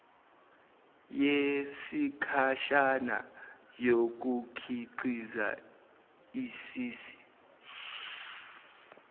yesikhashana yokukhiqiza isisi